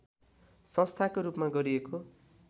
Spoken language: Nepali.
संस्थाको रूपमा गरिएको